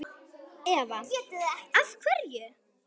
Eva: Af hverju?